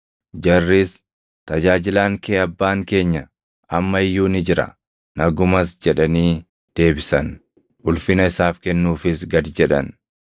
Jarris, “Tajaajilaan kee abbaan keenya amma iyyuu ni jira; nagumas” jedhanii deebisan. Ulfina isaaf kennuufis gad jedhan.